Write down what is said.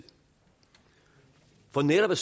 for netop at